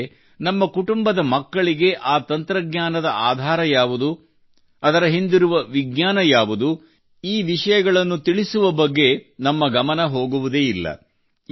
ಆದರೆ ನಮ್ಮ ಕುಟುಂಬದ ಮಕ್ಕಳಿಗೆ ಆ ತಂತ್ರಜ್ಞಾನದ ಆಧಾರ ಯಾವುದು ಅದರ ಹಿಂದಿರುವ ವಿಜ್ಞಾನ ಯಾವುದು ಈ ವಿಷಯಗಳ ಬಗ್ಗೆ ನಮ್ಮ ಗಮನ ಹೋಗುವುದೇ ಇಲ್ಲ